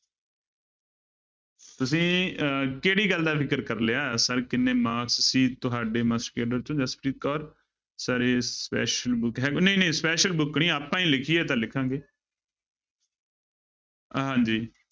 ਤੁਸੀਂ ਅਹ ਕਿਹੜੀ ਗੱਲ ਦਾ ਫ਼ਿਕਰ ਕਰ ਲਿਆ, ਸਰ ਕਿੰਨੇ marks ਸੀ ਤੁਹਾਡੇ ਮਾਸਟਰ ਕੇਡਰ ਚੋਂ ਜਸਪ੍ਰੀਤ ਕੌਰ ਸਰ ਇਹ special book ਹੈ ਨਹੀਂ ਨਹੀਂ special book ਨੀ ਆਪਾਂ ਹੀ ਲਿਖੀ ਤਾਂ ਲਿਖਾਂਗੇ ਹਾਂਜੀ।